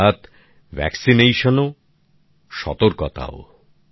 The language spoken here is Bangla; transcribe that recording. অর্থাৎ টিকাকরণ ও সতর্কতাও